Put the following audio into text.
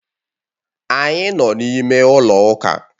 Anyị nọ n'ime ụlọ ụka.